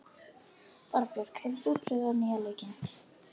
Þorbjörg, hefur þú prófað nýja leikinn?